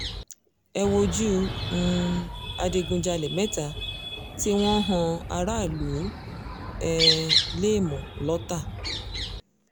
ẹ wojú u um adigunjalè mẹ́ta tí wọ́n ń han aráàlú um léèmọ̀ lọ́tà